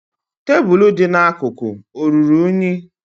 Tebụlụ dị n'akụkụ ọ ruru unyi?